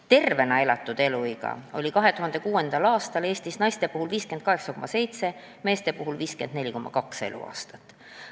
Tervena elatud eluiga oli 2006. aastal Eestis naistel 58,7, meestel 54,2 eluaastat.